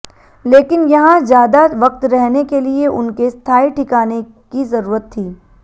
लेकिन यहां ज़्यादा वक्त रहने के लिए उनके स्थाई ठिकाने की जरूरत थी